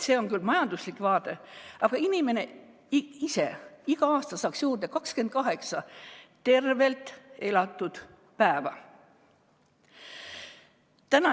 See on küll majanduslik vaade, aga inimene ise saaks iga aasta juurde 28 tervelt elatud päeva.